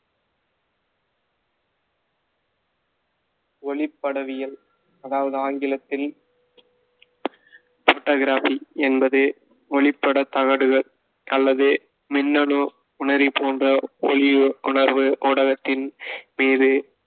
ஒளிப்படவியல் அதாவது ஆங்கிலத்தில் photography என்பது ஒளிப்படத் தகடுகள் அல்லது மின்னணு உணரி போன்ற ஒளி உணர்வு ஊடகத்தின் மீது